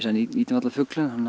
nýtum allan fuglinn þannig